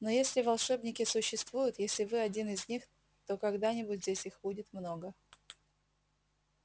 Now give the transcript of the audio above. но если волшебники существуют если вы один из них то когда-нибудь здесь их будет много